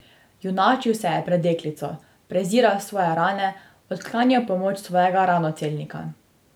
Junačil se je pred deklico, preziral svoje rane, odklanjal pomoč svojega ranocelnika.